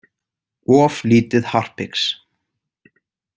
Of lítið harpix.